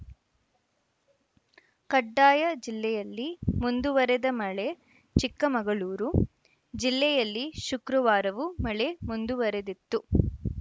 ಕಡ್ಡಾಯ ಜಿಲ್ಲೆಯಲ್ಲಿ ಮುಂದುವರೆದ ಮಳೆ ಚಿಕ್ಕಮಗಳೂರು ಜಿಲ್ಲೆಯಲ್ಲಿ ಶುಕ್ರವಾರವೂ ಮಳೆ ಮುಂದುವರೆದಿತ್ತು